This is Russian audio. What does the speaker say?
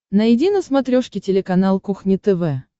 найди на смотрешке телеканал кухня тв